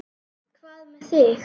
Hvað með þig?